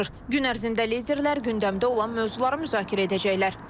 Gün ərzində liderlər gündəmdə olan mövzuları müzakirə edəcəklər.